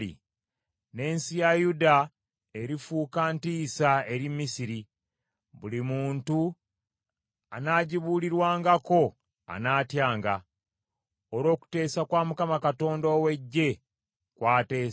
N’ensi ya Yuda erifuuka ntiisa eri Misiri, buli muntu anagibuulirwangako anatyanga, olw’okuteesa kwa Mukama Katonda ow’Eggye kw’ateesa ku yo.